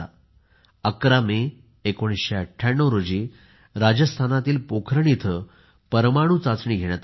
11 मे 1998 रोजी राजस्थानातील पोखरण येथे परमाणु चाचणी घेण्यात आली